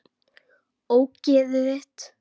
Ógeðið þitt!!